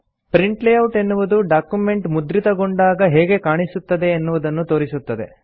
print layout ಎನ್ನುವುದು document ಮುದ್ರಿತಗೊಂಡಾಗ ಹೇಗೆ ಕಾಣಿಸುತ್ತದೆ ಎನ್ನುವುದನ್ನು ತೋರಿಸುತ್ತದೆ